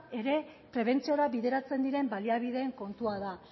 ere prebentziora bideratzen diren baliabideen kontua da